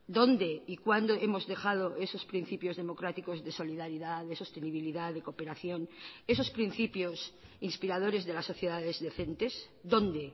dónde y cuándo hemos dejado esos principios democráticos de solidaridad de sostenibilidad de cooperación esos principios inspiradores de las sociedades decentes dónde